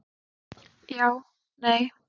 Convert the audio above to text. Já Nei